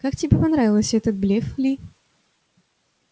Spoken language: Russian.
как тебе понравился этот блеф ли